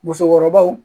Musokɔrɔbaw